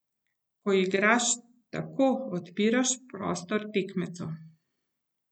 Ko igraš tako, odpiraš prostor tekmecu.